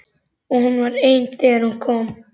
Og hún var ein þegar hún kom.